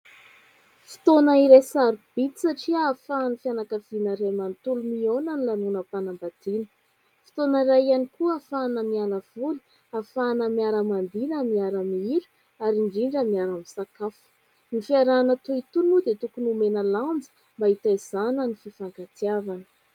Fotoana iray sarobidy satria ahafahan'ny fianakaviana iray manotolo miaona ny lanonam-panambadiana. Fotoana iray ihany koa ahafahana mialavoly, afahana miara-mandihy na miara-mihira ary indrindra miara-misakafo. Ny fiarahana toy itony dia tokony omena lanja mba hitaizana ny fifankatiavana.